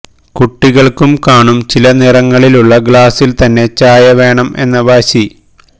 കുട്ടികൾക്കും കാണും ചില നിറങ്ങളിലുള്ള ഗ്ലാസ്സിൽ തന്നെ ചായ വേണം എന്ന വാശി